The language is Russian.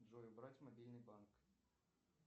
джой убрать мобильный банк